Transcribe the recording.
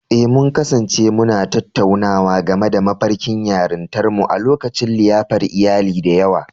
Eh, mun kasance muna tattaunawa game da mafarkin yarintarmu a lokacin liyafar iyali da yawa.